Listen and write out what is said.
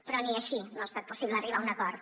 però ni així no ha estat possible arribar a un acord